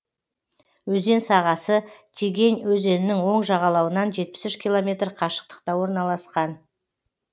өзен сағасы тегень өзенінің оң жағалауынан жетпіс үш километр қашықтықта орналасқан